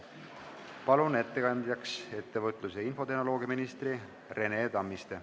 Palun ettekandeks kõnepulti ettevõtlus- ja infotehnoloogiaminister Rene Tammisti.